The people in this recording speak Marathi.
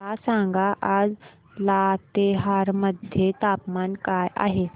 मला सांगा आज लातेहार मध्ये तापमान काय आहे